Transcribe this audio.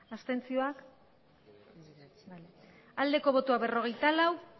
abstentzioa berrogeita lau